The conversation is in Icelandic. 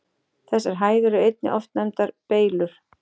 Þessar hæðir eru einnig oft nefndar Beylur.